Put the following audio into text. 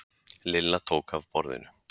Lilla tók af borðinu.